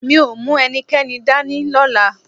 Mi ò mú ẹnikẹ́ni dání lọ́la